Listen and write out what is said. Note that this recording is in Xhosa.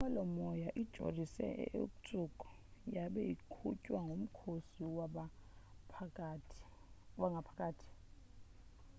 inqwelomoya ijolise e-irkutsk yabe iqhutywa ngukhosi wangaphakathi